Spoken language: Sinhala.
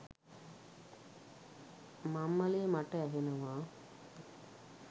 මම්මලේ මට ඇහෙනවා